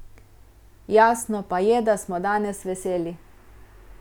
Jasno pa je, da smo danes veseli.